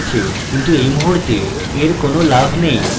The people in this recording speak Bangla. কিন্তু এই মুহূর্তে এর কোনো লাভ নেই